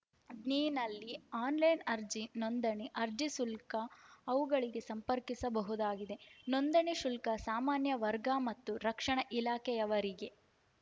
ಜ್ಞಿ ನಲ್ಲಿ ಆನ್‌ಲೈನ್‌ ಅರ್ಜಿ ನೊಂದಣಿ ಅರ್ಜಿ ಶುಲ್ಕ ಅವುಗಳಿಗೆ ಸಂಪರ್ಕಿಸಬಹುದಾಗಿದೆ ನೊಂದಣಿ ಶುಲ್ಕ ಸಾಮಾನ್ಯ ವರ್ಗ ಮತ್ತು ರಕ್ಷಣಾ ಇಲಾಖೆಯವರಿಗೆ